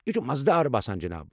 یہِ چھُ مزٕدار باسان جِناب۔